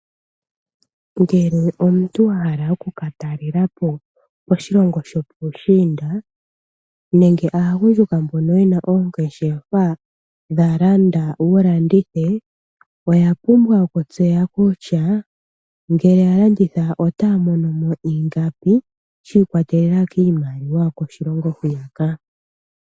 Ngele omuntu wahala oku katalelapo koshilongo shopuushinda nenge aagundjuka mboka yena oongeshefa dhalanda wulandithe, oya pumbwa okutseya kutya ngele yalanditha otaya monomo ingapi shiikwatelela kiimaliwa yokoshilongo hoka uuka.